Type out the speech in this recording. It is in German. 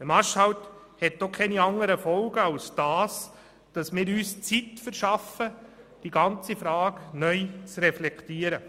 Ein Marschhalt hat denn auch keine andere Folge, ausser dass wir uns die Zeit verschaffen, um die ganze Frage neu zu reflektieren.